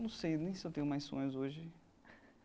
Não sei nem se eu tenho mais sonhos hoje.